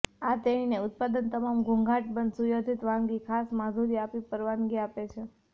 આ તેણીને ઉત્પાદન તમામ ઘોંઘાટ બંધ સુયોજિત વાનગી ખાસ માધુર્ય આપી પરવાનગી આપે છે